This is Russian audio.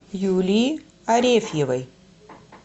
юлии арефьевой